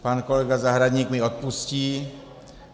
Pan kolega Zahradník mi odpustí.